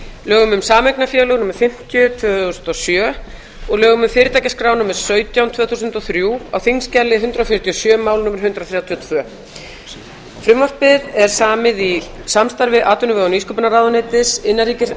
lögum um sameignarfélög númer fimmtíu tvö þúsund og sjö og lögum um fyrirtækjaskrá númer sautján tvö þúsund og þrjú á þingskjali hundrað fjörutíu og sjö mál númer hundrað þrjátíu og tvö frumvarpið er samið í samstarfi atvinnu og nýsköpunarráðuneytis